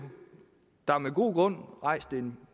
der med god grund rejst en